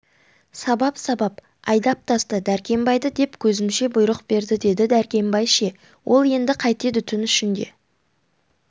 сабап-сабап айдап таста дәркембайды деп көзімше бұйрық берді деді дәркембай ше ол енді қайтеді түн ішінде